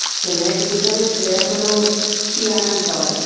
ছেলেরা difficult না ছেলেরা হল সেয়ানার দল